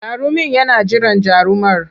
Jarumin yana jiran jarumar.